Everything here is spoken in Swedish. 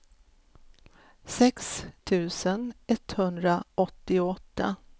sex tusen etthundraåttioåtta